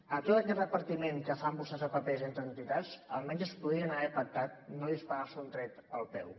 amb tot aquest repartiment que fan vostès de papers entre entitats almenys podrien haver pactat no disparar se un tret al peu